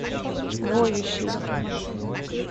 воющий